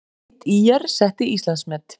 Sveit ÍR setti Íslandsmet